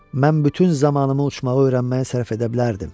Mən bütün zamanımı uçmağı öyrənməyə sərf edə bilərdim.